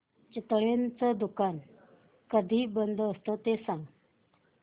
चितळेंचं दुकान कधी बंद असतं ते सांग